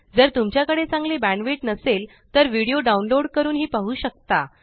जर तुमच्याकडे चांगली बॅण्डविड्थ नसेल तर व्हिडीओ डाउनलोड करूनही पाहू शकता